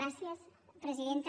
gràcies presidenta